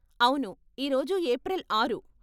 అవును, ఈ రోజు ఏప్రిల్ ఆరు .